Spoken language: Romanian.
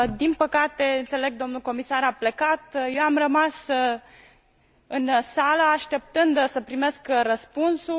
din păcate, înțeleg, dl comisar a plecat, eu am rămas în sală, așteptând să primesc răspunsul.